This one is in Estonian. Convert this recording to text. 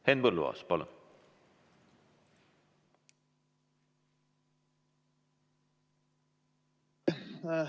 Henn Põlluaas, palun!